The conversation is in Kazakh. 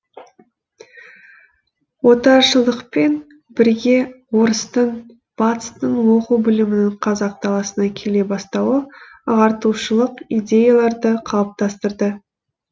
отаршылдықпен бірге орыстың батыстың оқу білімінің қазақ даласына келе бастауы ағартушылық идеяларды қалыптастырды